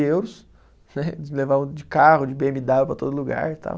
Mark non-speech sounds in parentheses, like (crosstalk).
Euros né, (laughs) eles levavam de carro, de bê eme dáblio para todo lugar e tal.